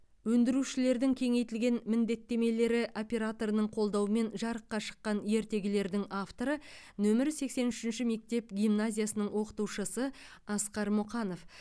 өндірушілердің кеңейтілген міндеттемелері операторының қолдауымен жарыққа шыққан ертегілердің авторы нөмірі сексен үшінші мектеп гимназиясының оқытушысы асқар мұқанов